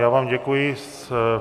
Já vám děkuji.